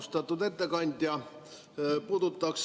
Austatud ettekandja!